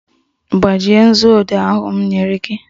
Gbajie nzuodee ahụ m nyere gị!